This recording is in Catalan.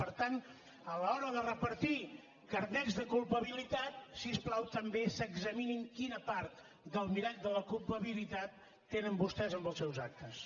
per tant a l’hora de repartir carnets de culpabilitat si us plau també s’examinin quina part del mirall de la culpabilitat tenen vostès amb els seus actes